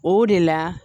O de la